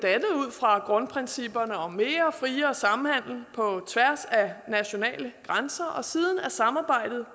fra grundprincipperne om mere og friere samhandel på tværs af nationale grænser og siden er samarbejdet